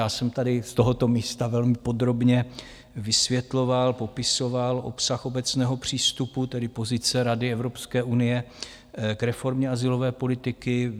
Já jsem tady z tohoto místa velmi podrobně vysvětloval, popisoval obsah obecného přístupu, tedy pozice rady Evropské unie k reformě azylové politiky.